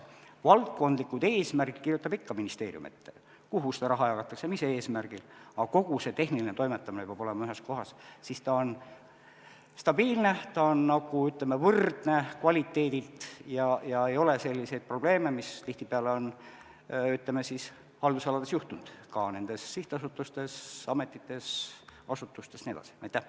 Valdkondlikud eesmärgid kirjutab ikka ministeerium ette, kuhu raha jagatakse, mis eesmärgil, aga kogu tehniline toimetamine peab olema ühes kohas, siis ta on stabiilne, ta on, ütleme, võrdne kvaliteedilt ega ole selliseid probleeme, mida tihtipeale on haldusalades juhtunud, ka nendes sihtasutustes, ametites, asutustes jne.